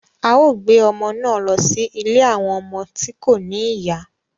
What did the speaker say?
A o gbé ọmọ náà lọ sí ilé awọn ọmọ tí ko ní ìyá